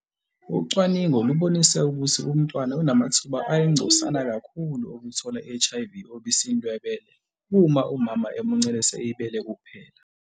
Ucwaningo lubonise ukuthi umntwana unamathuba ayingcosana kakhulu okuthola i-HIV obisini lwebele uma umama emuncelisa ibele kuphela.